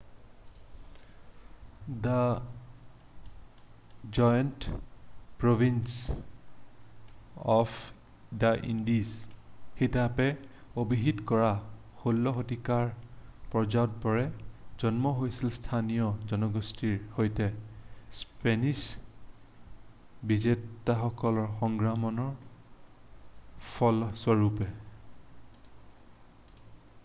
da giant province of Indies হিচাপে অভিহিত কৰা 16 শতিকাৰ পাৰাগুৱেৰ জন্ম হৈছিল স্থানীয় জনগোষ্ঠীৰ সৈতে স্পেনিছ বিজেতাসকলৰ সংগ্ৰামৰ ফলস্বৰূপে